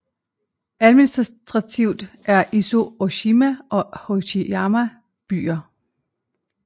Administrativt er Izu Ooshima og Hachijojima byer